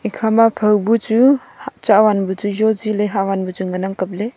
ikhama phao bu chu hah chawan bu chu zoh ji ley havan bu chu nganang kapley.